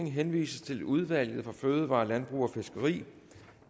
henvises til udvalget for fødevarer landbrug og fiskeri